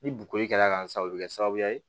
Ni bori kɛla kansɔrɔ o bi kɛ sababuya ye